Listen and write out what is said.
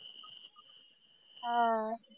हा आह